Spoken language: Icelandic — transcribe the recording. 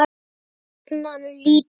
Og jafnan lítið.